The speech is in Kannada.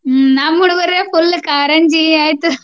ನಮ್ಮ್ ಹುಡಗೋರ್ full ಕಾರಂಜಿ ಆಯ್ತ್.